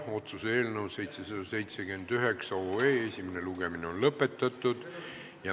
Otsuse eelnõu 779 esimene lugemine on lõppenud.